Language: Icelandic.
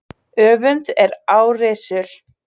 Öfund er árrisul.